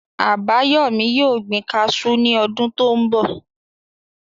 Àbáyọ̀mí yóò gbin kaasú ní ọdún tó n bọ̀